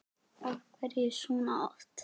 Af hverju svona oft?